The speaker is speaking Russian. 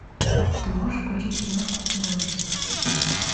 ты можешь включить киношку в стиле ужасов